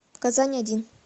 казань один